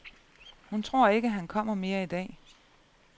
Hun tror ikke, han kommer mere i dag.